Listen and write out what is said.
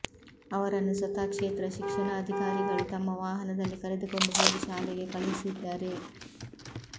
ಅವರನ್ನು ಸ್ವತಃ ಕ್ಷೇತ್ರ ಶಿಕ್ಷಣಾಧಿಕಾರಿಗಳು ತಮ್ಮ ವಾಹನದಲ್ಲಿ ಕರೆದುಕೊಂಡು ಹೋಗಿ ಶಾಲೆಗೆ ಕಳುಹಿಸಿದ್ದಾರೆ